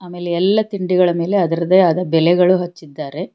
ಆಮೇಲೆ ಎಲ್ಲ ತಿಂಡಿಗಳ ಮೇಲೆ ಅದರದೇ ಆದ ಬೆಲೆಗಳು ಹಚ್ಚಿದ್ದಾರೆ.